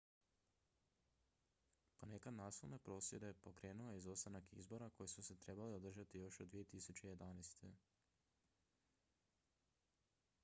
ponekad nasilne prosvjede pokrenuo je izostanak izbora koji su se trebali održati još od 2011